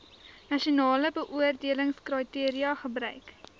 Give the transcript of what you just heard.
nasionale beoordelingskriteria gebruik